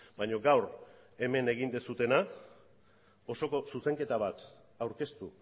baina gaur hemen egin duzuena osoko zuzenketa bat aurkeztu